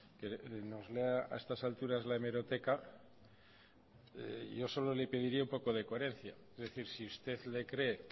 que nos lea a estas alturas la hemeroteca yo solo le pediría un poco de coherencia es decir si usted le cree